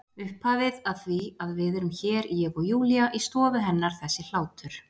Upphafið að því að við erum hér, ég og Júlía, í stofu hennar þessi hlátur.